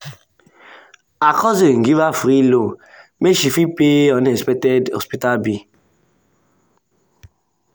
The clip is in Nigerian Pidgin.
sarah dey swipe um credit card anyhow for boutique anytime um she travel for weekend.